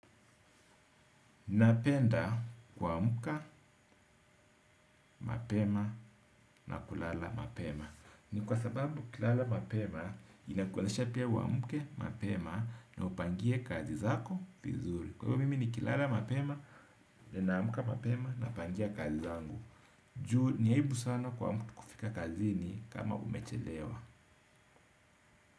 Napenda kuamka, mapema na kulala mapema. Ni kwa sababu kilala mapema inakuwezesha pia uamke, mapema na upangie kazi zako vizuri. Kwa hivyo mimi nikilala mapema na naamka mapema na upangia kazi zangu. Juu ni aibu sana kuamka kufika kazini kama umechelewa.